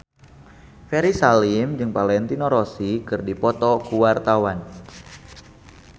Ferry Salim jeung Valentino Rossi keur dipoto ku wartawan